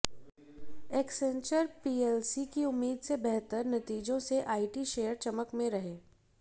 Accenture PLC के उम्मीद से बेहतर नतीजों से आईटी शेयर चमक में रहे